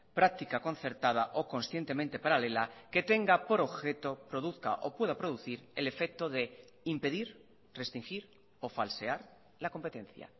práctica concertada o conscientemente paralela que tenga por objeto produzca o pueda producir el efecto de impedir restringir o falsear la competencia